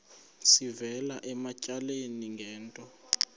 sivela ematyaleni ngento